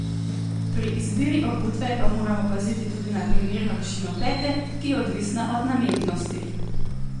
Pri izbiri obutve pa moramo paziti tudi na primerno višino pete, ki je odvisna od namembnosti.